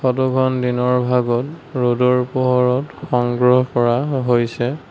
Photo খন দিনৰ ভাগত ৰ'দৰ পোহৰত সংগ্ৰহ কৰা হৈছে।